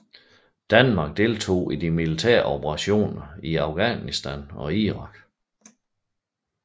Danmark deltog i de militære operationer i Afghanistan og Irak